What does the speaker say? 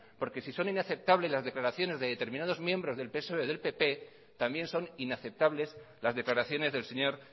porque si son inaceptables las declaraciones de determinados miembros del psoe y del pp también son inaceptables las declaraciones del señor